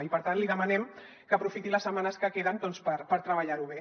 i per tant li demanem que aprofiti les setmanes que queden doncs per treballar ho bé